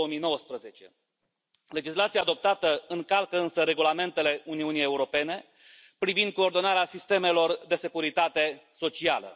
2019. Legislația adoptată încalcă însă regulamentele Uniunii Europene privind coordonarea sistemelor de securitate socială.